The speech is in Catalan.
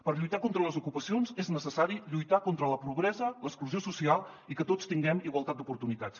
per lluitar contra les ocupacions és necessari lluitar contra la pobresa l’exclusió social i que tots tinguem igualtat d’oportunitats